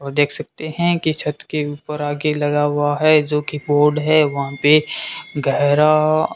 और देख सकते हैं कि छत के ऊपर आ के लगा हुआ है जो कि बोर्ड है वहां पे गहरा --